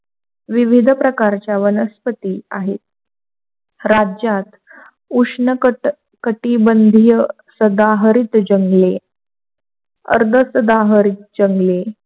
विविध प्रकारच्या वनस्पती आहेत, राज्यात उष्णकटिबंधीय सदाहरित जंगले अर्ध सदाहरित जंगले,